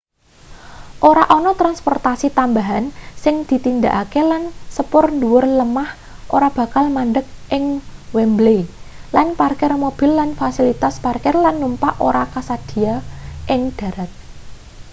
ora ana transportasi tambahan sing ditindakake lan sepur ndhuwur lemah ora bakal mandheg ing wembley lan parkir mobil lan fasilitas parkir-lan-numpak ora kasedhiya ing dharat